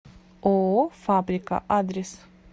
ооо фабрика адрес